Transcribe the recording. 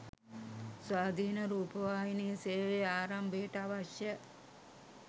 ස්වාධීන රූපවාහි සේවය ආරම්භයට අවශ්‍ය